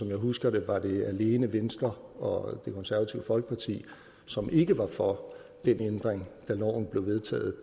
jeg husker det var det alene venstre og det konservative folkeparti som ikke var for den ændring da loven blev vedtaget